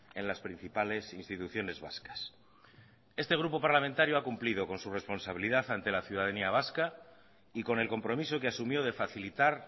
en las principales instituciones vascas este grupo parlamentario ha cumplido con su responsabilidad ante la ciudadanía vasca y con el compromiso que asumió de facilitar